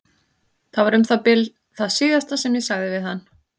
Það var um það bil það síðasta sem ég sagði við hann.